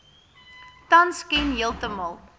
tans ken heeltemal